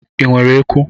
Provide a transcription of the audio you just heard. Ị nwere eku?